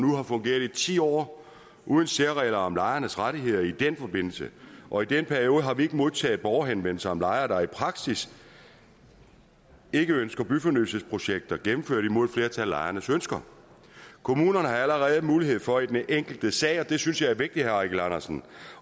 fungeret i ti år uden særregler om lejernes rettigheder i den forbindelse og i den periode har vi ikke modtaget borgerhenvendelser fra lejere der i praksis ikke ønsker byfornyelsesprojekter gennemført imod et flertal af lejernes ønsker kommunerne har allerede mulighed for i den enkelte sag og det synes jeg er vigtigt herre eigil andersen